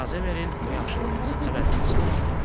İcazə verin, bu yaxşılığınızın əvəzini çıxım.